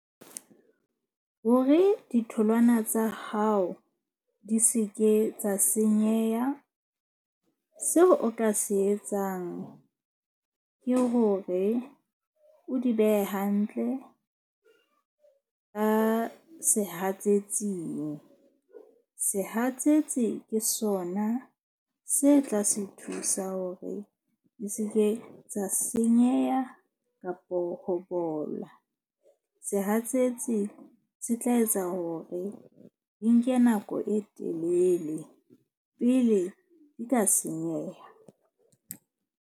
Hore ditholwana tsa hao di seke tsa senyeha, seo o ka se etsang ke hore o di behe hantle ka sehatsetsing. Sehatsetsi ke sona se tla se thusa hore di seke tsa senyeha kapo ho bola. Sehatsetsi se tla etsa hore di nke nako e telele pele di ka senyeha.